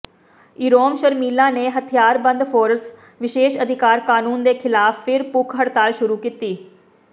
ਇਰੋਮ ਸ਼ਰਮੀਲਾ ਨੇ ਹਥਿਆਰਬੰਦ ਫ਼ੋਰਸ ਵਿਸ਼ੇਸ਼ ਅਧਿਕਾਰ ਕਾਨੂੰਨ ਦੇ ਖਿਲਾਫ ਫਿਰ ਭੁੱਖ ਹੜਤਾਲ ਸ਼ੁਰੂ ਕੀਤੀ